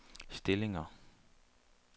stillinger